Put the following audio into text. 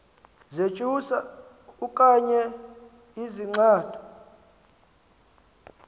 zentsusa okanye izixando